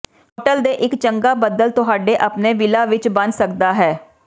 hotel ਦੇ ਇੱਕ ਚੰਗਾ ਬਦਲ ਤੁਹਾਡੇ ਆਪਣੇ ਵਿਲਾ ਵਿੱਚ ਬਣ ਸਕਦਾ ਹੈ